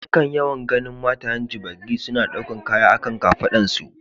Na kan yawan ganin matayen gbagyi suna daukan kaya a kan kafadun su.